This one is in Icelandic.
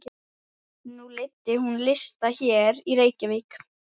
Nú leiddi hún lista hér í Reykjavík?